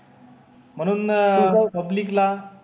म्हणून अं public ला